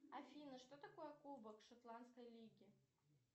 афина что такое кубок шотландской лиги